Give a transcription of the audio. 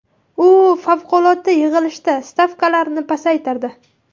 U favqulodda yig‘ilishda stavkalarni pasaytirdi.